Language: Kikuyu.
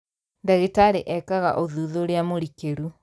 Ndagĩtarĩ eekaga ũthuthuria mũrikĩru